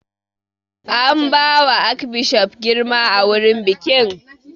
An ba wa arkbishof girma a wurin bikin